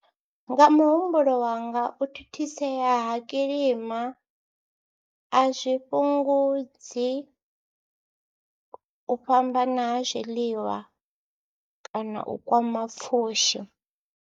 Nga muhumbulo wanga u thithisea ha kilima a zwi fhungudzi u fhambana ha zwiḽiwa kana u kwama pfhushi.